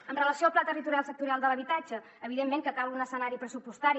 amb relació al pla territorial sectorial de l’habitatge evidentment que cal un escenari pressupostari